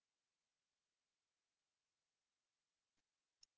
басқа операторлар да соған ұқсас